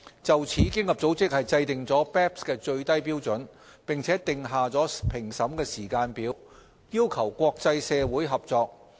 就此，經合組織制訂了 BEPS 的最低標準，並訂下評審時間表，要求國際社會合作。